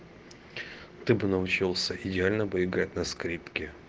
ты бы научился идеально бы играть на скрипке